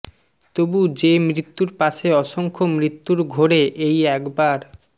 তবু যে মৃত্যুর পাশে অসংখ্য মৃত্যুর ঘোরে এই একবার